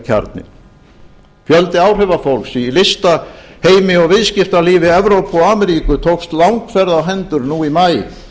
kjarninn fjöldi áhrifafólks í listaheimi og viðskiptalífi evrópu og ameríku tókst langferð á hendur nú í maí